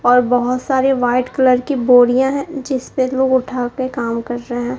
और बहोत सारे व्हाइट कलर की बोरियां है जिसपे लोग उठाके कम कर रहे हैं।